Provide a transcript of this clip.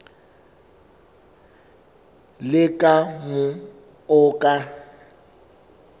le ka moo o ka